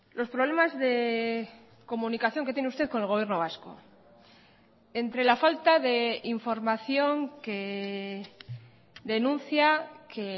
los problemas de comunicación que tiene usted con el gobierno vasco entre la falta de información que denuncia que